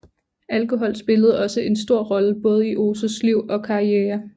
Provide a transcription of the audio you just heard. Alkohol spillede også en stor rolle både i Ozus liv og karriere